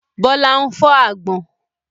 Bọlá ń fọ àgbọ̀n.